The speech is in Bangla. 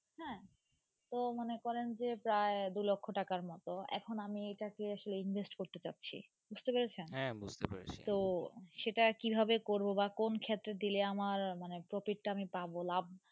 হ্যাঁ তো মনেকরেন যে প্রায় দু লক্ষ্য টাকার মতো এখন এইটাকে আসলে Invest করতে যাচ্ছি বুজতে পড়েছেন হ্যাঁ বুজতে পড়েছি তো সেটা কিভবে করবো বা কোন ক্ষেত্রে দিলে আমার মানে প্রতি তা আমি পাবো লাভ।